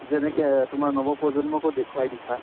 যেনেকে তোমাৰ নৱপ্ৰজন্মকো দেখুৱাই দিছা